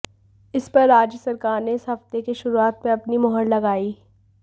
इस पर राज्य सरकार ने इस हफ्ते के शुरुआत में अपनी मुहर लगाई